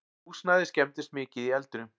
Húsnæðið skemmdist mikið í eldinum